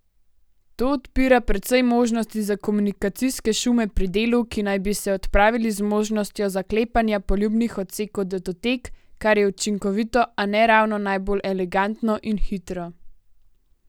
To odpira precej možnosti za komunikacijske šume pri delu, ki naj bi se odpravili z možnostjo zaklepanja poljubnih odsekov datotek, kar je učinkovito, a ne ravno najbolj elegantno in hitro.